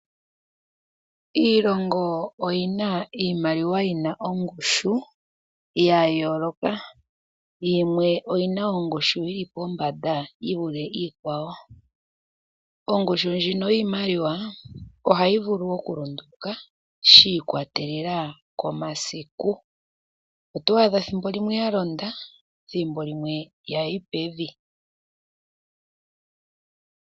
Iilongo oyi na iimaliwa yina ongushu yayolokathana. Yimwe oyi na ongushu yi li pombanda yi vule iikwawo. Ongushu yiimaliwa ohayi vulu okulonduluka shi ikwatelela komasiku. Otwadha ethimbo limwe ya londa nethimbo limwe yayi pevi.